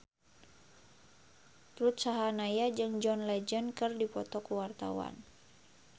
Ruth Sahanaya jeung John Legend keur dipoto ku wartawan